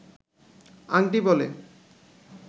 আংটি বলে